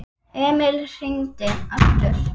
Emil hringdi aftur.